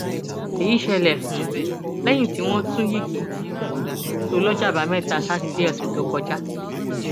èyí ṣẹlẹ um lẹyìn tí tí wọn tún yigi um sọ lọjọ àbámẹta sátidé ọsẹ tó kọjá